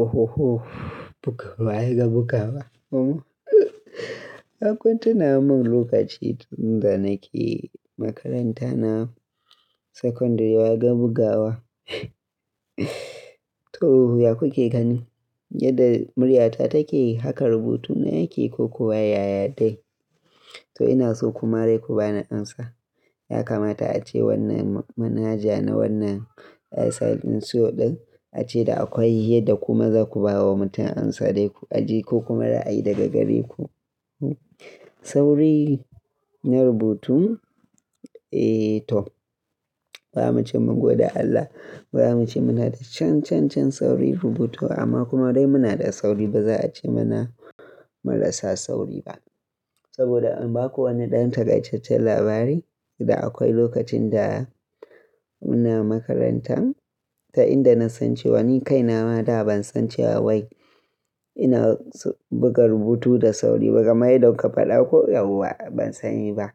Ohoho, buga waye ga bugawa? Ai kun tunamin lokaci tun da nake makaranta na secondary waya ga bugawa. Toh ya ku ke gani yadda muryata take haka rubutuna yake ko kuwa yaya dai? Toh ina so ku ma dai ku bani amsa. Ya kamata ace wannan manaja na wannan AI suyo ɗin ace da akwai yadda kuma za ku bawa mutum amsa dai ku aje ko kuma ra'a yi daga gare ku. Sauri na rubutu? Eh to bara mu ce mun gwada Allah, ba mu ce muna da can can can saurin rubutu amma kuma dai muna da sauri ba za a ce muna marasa sauri ba. Saboda in ba ku wani ɗan takaicecen labari da akwai lokacin da muna makaranta ta inda na san cewa ni kaina ma da ban san cewa wai ina buga rubutu da sauri ba, kamar yadda kuka faɗa ko yawwa ban sani ba.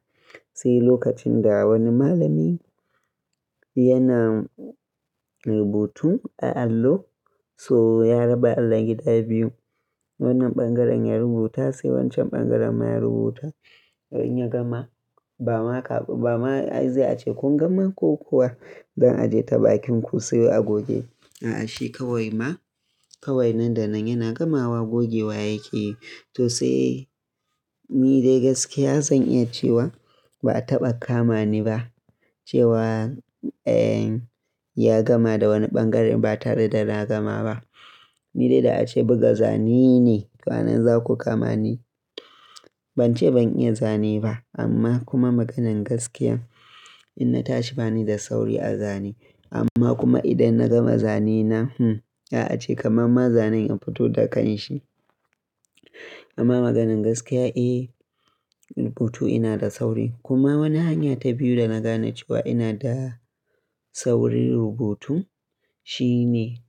Sai lokacin da wani malami yana rubutu a allo so ya raba Allon gida biyu wannan ɓangaren ya rubuta sai wancan ɓangaren ma ya rubuta to in ya gama. Ba ma ka ba ma za ace kun gama ko kuwa dan aji ta bakin ku sai a goge. A'a shi kawai ma kawai nan da nan yana gama wa goge wa yake yi. To sai ni dai gaskiya zan iya cewa ba a taɓa kama ni ba cewa eh ya gama da wani ɓangare ba tare da na gama ba. Ni dai da ace buga zane ne to anan za ku kama ni. Ban ce ban iya zane ba amma kuma maganan gaskiya inna tashi ba ni da sauri a zane amma kuma idan na gama zane na hmmm za'a ce kamar ma zanen ya fito da kanshi. Amma maganan gaskiya eh rubutu ina da sauri kuma wani hanya ta biyu da na gane cewa ina da saurin rubutu shine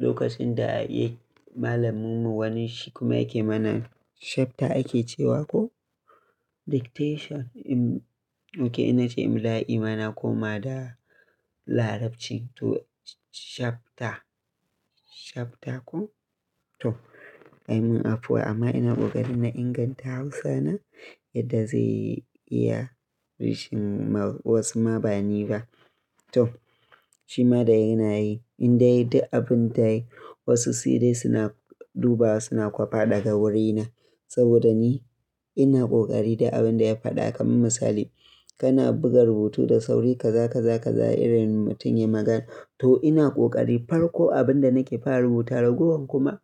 lokacin da eh malamunmu wani shi kuma yake mana chapter ake cewa ko dictation em okay in na ce imla'i ma na koma da Larabci to chapter chapter ko? To a mun afuwa amma ina ƙoƙari na inganta Hausana yadda zai iya rishin ma wasu ma ba ni ba. To shi ma dai ina yi in dai duk abin da nayi wasu sai dai suna dubawa suna kwafa daga wurina. Saboda ni ina ƙoƙari duk abin da ya faɗa kamar misali kana buga rubutu da sauri ka za ka za ka za irin mutum ya magana. To ina ƙoƙari farko abin da nake fara rubuta ragowar kuma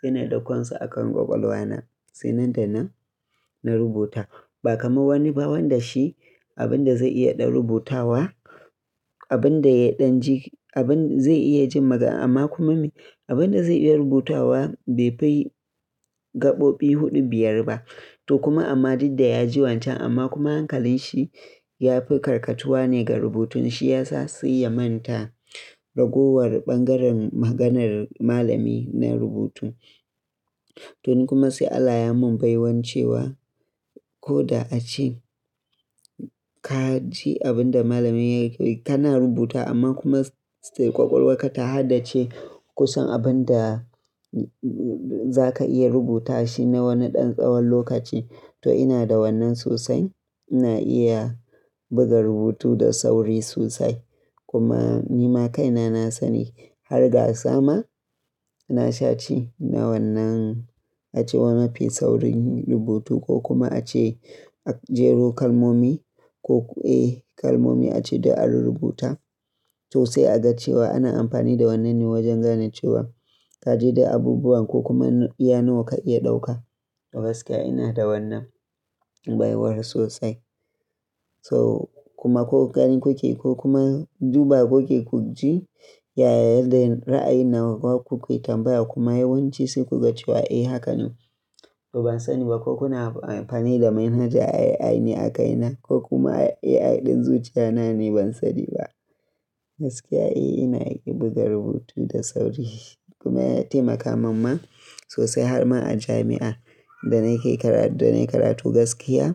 suna ɗauko su a kan ƙwaƙwalwa na sai nan da nan na rubuta. Ba kamar wani ba wanda shi abin da zai iya ɗan rubutawa abin da ya ɗan ji abin zai iya jin magana amma kuma abin da zai iya rubutawa bai fi gaɓoɓi huɗu biyar ba. To kuma amma duk da ya ji wancan amma kuma hankalin shi ya fi karkatuwa ne ga rubutun shi ya sa sai ya manta ragowar ɓangaren maganar malami na rubutu. To ni kuma sai Allah ya mun baiwancewa ko da ace ka ji abin da malamin yake yi kana rubutawa amma kuma still ƙwaƙwalwar ka ta haddace kusan abin da za ka iya rubuta shi na wani ɗan tsawon lokaci. To ina da wannan sosai ina iya buga rubutu da sauri sosai kuma ni ma kaina na sani har ga sa ma na sha ci na wannan a ce wanda yafi saurin rubutu ko kuma a ce a jero kalmomi koko eh kalmomi a ce duk a rurrubuta. To sai a ga cewa ana amfani da wannan ne wajen gane cewa ka ji duk abubuwan ko kuma iya nawa ka iya ɗauka. To gaskiya ina da wannan baiwar sosai. So kuma ko gani ku ke ko kuma duba ku ke ku ji yaya yadda ra'ayin nawa wa ku ke tambaya kuma yawanci sai ku ga cewa eh hakan ne. To ban sani ba ko kuna amfani da manaja AI ne a kaina ko kuma AI ɗin zuciya na ne ban sani ba. Gaskiya eh ina iya buga rubutu da sauri kuma ya taimaka man ma sosai har ma a jami'a da na ke karatu da nayi karatu gaskiya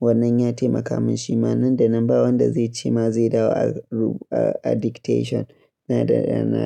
wannan ya taimaka mun shi ma nan da nan ba wanda zai ce ma zai dawo a rubu a dictation na da.